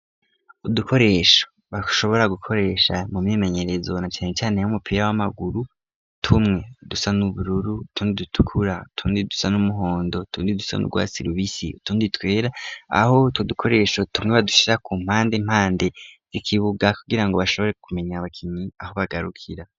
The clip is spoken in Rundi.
Udukoresha bashobora gukoresha mu myemenyerezona canecane yo umupira w'amaguru tumwe dusa n'ubururu tundi dutukura utundi dusa n'umuhondo tundi dusa n'urwa si lubisi utundi twera aho tudukoresho tumwe badushira ku mpande mpande zikibuga kugira ngo bashobore kumenya abakinyi aho bagarukira.